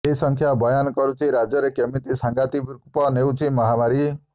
ଏ ସଂଖ୍ୟା ବୟାନ କରୁଛି ରାଜ୍ୟରେ କେମିତି ସାଂଘାତିକ ରୂପ ନେଉଛି ମହାମାରୀ